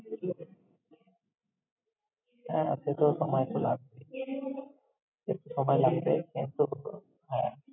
সময় লাগবে, তাই না! হ্যাঁ, সে তো সময় তো লাগবেই। একটু সময় লাগবে হ্যাঁ।